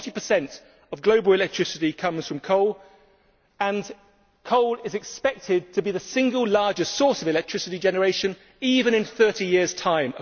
Forty per cent of global electricity comes from coal, and coal is expected to be the single largest source of electricity generation across the world even in 30 years' time.